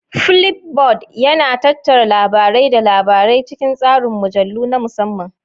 Flipboard yana tattara labarai da labarai cikin tsarin mujallu na musamman.